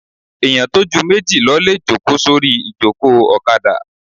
Èèyàn tó ju méjì lọ lè jòkó sórí ìjòkó ọ̀kadà